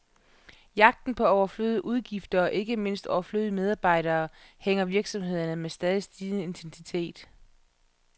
Jagten på overflødige udgifter, og ikke mindst overflødige medarbejdere, hærger virksomhederne med stadig stigende intensitet.